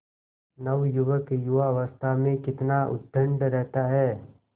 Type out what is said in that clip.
नवयुवक युवावस्था में कितना उद्दंड रहता है